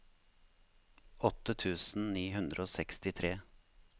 åtte tusen ni hundre og sekstitre